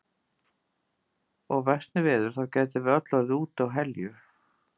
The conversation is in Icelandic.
Og versni veður þá gætum við öll orðið úti á Helju.